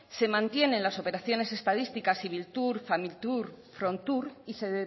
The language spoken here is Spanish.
se mantienen las operaciones estadísticas ibiltur familitur y frontur y se